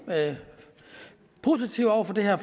positive over for det her